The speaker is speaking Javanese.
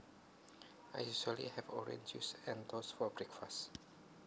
I usually have orange juice and toast for breakfast